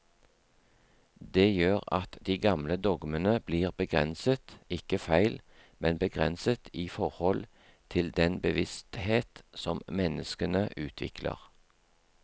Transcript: Det gjør at de gamle dogmene blir begrenset, ikke feil, men begrenset i forhold til den bevissthet som menneskene utvikler.